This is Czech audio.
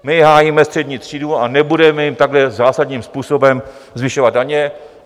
My hájíme střední třídu a nebudeme jim takhle zásadním způsobem zvyšovat daně.